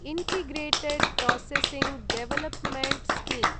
integrated processing development scheme